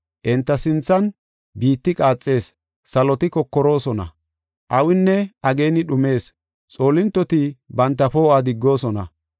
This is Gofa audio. Enta sinthan biitti qaaxees; saloti kokoroosona. Awinne ageeni dhumees; xoolintoti banta poo7uwa diggoosona.